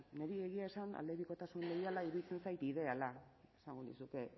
niri egia esan aldebikotasun leiala iruditzen zait ideala esango nizuke